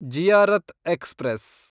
Ziyarat express